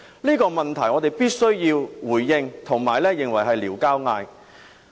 這個問題我們必須回應，並認為是挑釁。